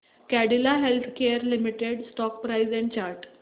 Cadila healthcare limited stock price and chart